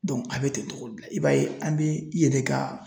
Dɔnku a be ten togo de i b'a ye an be i yɛrɛ ka